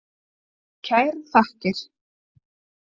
Kærar þakkir.